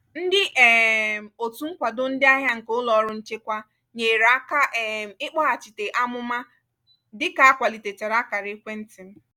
ndị um òtù nkwado ndị ahịa nke ụlọrụ nchekwa nyere aka um ikpoghachita amụma n dịka akwalitechara akara ekwentị m